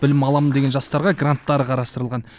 білім аламын деген жастарға гранттар қарастырылған